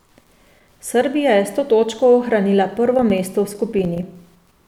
Srbija je s to točko ohranila prvo mesto v skupini.